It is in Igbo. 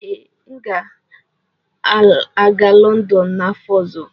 Ee, aga m aga Lọndọn n'afọ ọzọ.